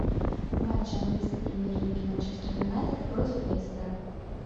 матч английской премьер лиги манчестер юнайтед против лестера